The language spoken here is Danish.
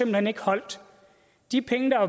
hen ikke holdt de penge der